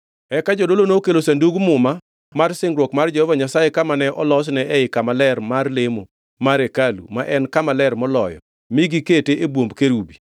Eka jodolo nokelo Sandug Muma mar singruok mar Jehova Nyasaye kama ne olosne ei kama ler mar lemo mar hekalu ma en Kama Ler Moloyo mi gikete e bwomb kerubi.